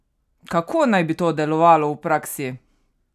Kako naj bi to delovalo v praksi?